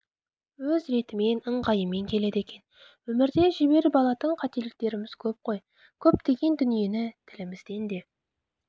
өз ретімен ыңғайымен келеді екен өмірде жіберіп алатын қателіктеріміз көп қой көптеген дүниені тілімізден де